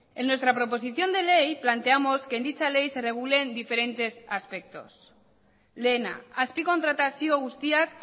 en nuestra proposición de ley planteamos que en dicha ley se regulen diferentes aspectos lehena azpikontratazio guztiak